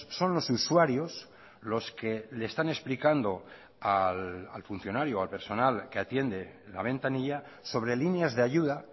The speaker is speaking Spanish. son los usuarios los que le están explicando al funcionario o al personal que atiende la ventanilla sobre líneas de ayuda